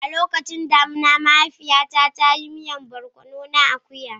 Lokacin damina, mahaifiyata ta yi miyan barkono na akuya.